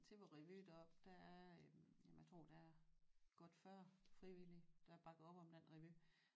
Til vor revy der der er øh jamen jeg tror der er godt 40 frivillige der bakker op om den revy